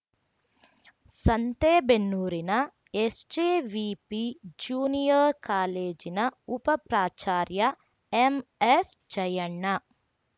ಸಂತೆಬೆನ್ನೂರಿನ SJVP junior ಕಾಲೇಜಿನ ಉಪ ಪ್ರಾಚಾರ್ಯ ಎಂಎಸ್ಜಯಣ್ಣ